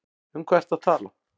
Um hvað ertu að tala?